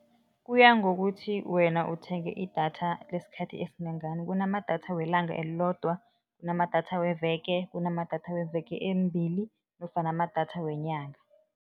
Kuya ngokuthi wena uthenge idatha lesikhathi esingangani. Kunamadatha welanga elilodwa, kunamadatha weveke, kunamadatha weveke embili nofana amadatha wenyanga.